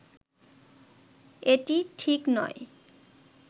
এটি ঠিক নয়